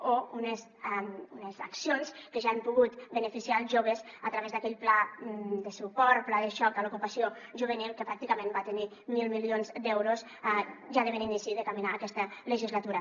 o unes accions que ja han pogut beneficiar els joves a través d’aquell pla de suport o pla de xoc per l’ocupació juvenil que pràcticament va tenir mil milions d’euros ja de bon inici de caminar aquesta legislatura